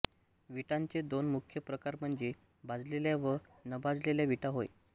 विटांचे दोन मुख्य प्रकार म्हणजे भाजलेल्या व नभाजलेल्या विटा होय